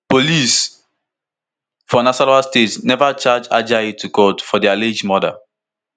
police for nasarawa state neva charge ajayi to court for di alleged murder